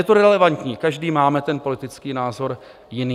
Je to relevantní, každý máme ten politický názor jiný.